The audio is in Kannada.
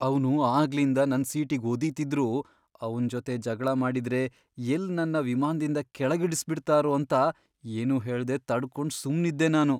ಅವ್ನು ಆಗ್ಲಿಂದ ನನ್ ಸೀಟಿಗ್ ಒದೀತಿದ್ರೂ ಅವ್ನ್ ಜೊತೆ ಜಗ್ಳ ಮಾಡಿದ್ರೆ ಎಲ್ಲ್ ನನ್ನ ವಿಮಾನ್ದಿಂದ ಕೆಳಗಿಳಿಸ್ಬಿಡ್ತಾರೋ ಅಂತ ಏನೂ ಹೇಳ್ದೆ ತಡ್ಕೊಂಡ್ ಸುಮ್ನಿದ್ದೆ ನಾನು.